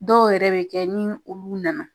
Dɔw yɛrɛ bɛ kɛ ni olu nana